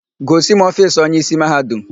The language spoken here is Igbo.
Gosi m ofiisi onyeísí Mahadum!